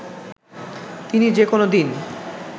তিনি যেকোনো দিন